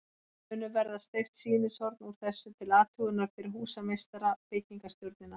Munu verða steypt sýnishorn úr þessu til athugunar fyrir húsameistara og byggingarstjórnina.